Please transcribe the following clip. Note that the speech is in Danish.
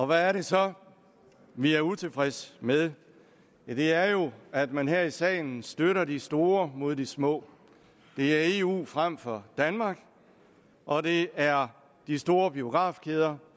hvad er det så vi er utilfredse med det er jo at man her i salen støtter de store mod de små det er eu fremfor danmark og det er de store biografkæder